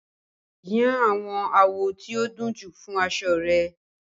Yan àwọn àwọ̀ tí ó dunjú fún aṣọ rẹ